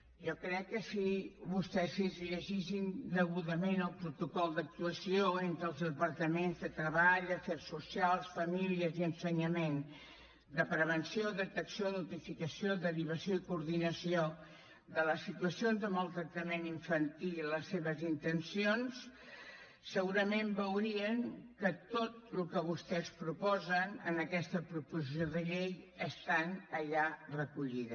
jo crec que si vostès es llegissin degudament el protocol d’actuació entre els departaments de treball afers socials i famílies i ensenyament de prevenció detecció notificació derivació i coordinació de les situacions de maltractament infantil i les seves intencions segurament veurien que tot el que vostès proposen en aquesta proposició de llei està allà recollit